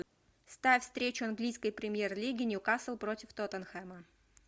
ставь встречу английской премьер лиги ньюкасл против тоттенхэма